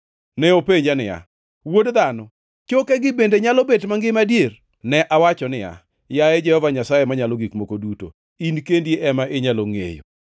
Ne openja niya, “Wuod dhano, chokegi bende nyalo bet mangima adier?” Ne awacho niya, “Yaye Jehova Nyasaye Manyalo Gik Moko Duto, in kendi ema inyalo ngʼeyo.”